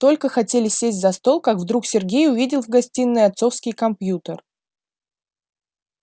только хотели сесть за стол как вдруг сергей увидел в гостиной отцовский компьютер